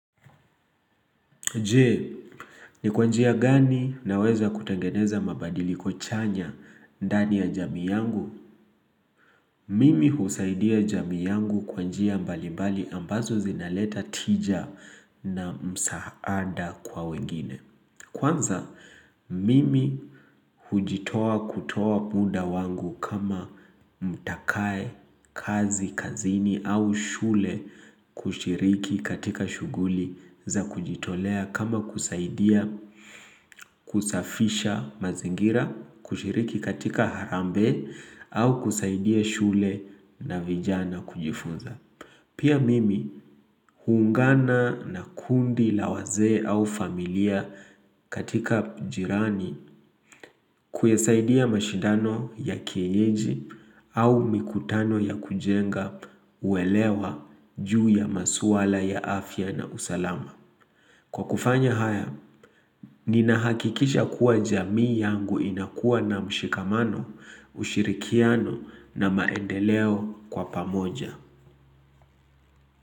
Je, ni kwa njia gani naweza kutengeneza mabadiliko kuchanya ndani ya jamii yangu? Mimi husaidia jamii yangu kwa njia mbali mbali ambazo zinaleta tija na msaada kwa wengine. Kwanza mimi hujitoa kutoa muda wangu kama mtakaye, kazi, kazini au shule kushiriki katika shughuli za kujitolea kama kusaidia kusafisha mazingira kushiriki katika harambe au kusaidia shule na vijana kujifunza. Pia mimi huungana na kundi lawazee au familia katika jirani kuesaidia mashidano ya kienyeji au mikutano ya kujenga huelewa juu ya maswala ya afya na usalama. Kwa kufanya haya, nina hakikisha kuwa jamii yangu inakuwa na mshikamano, ushirikiano na maendeleo kwa pamoja.